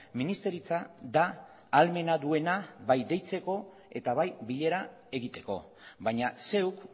ministeritza da ahalmena duena bai deitzeko eta bai bilera egiteko baina zeuk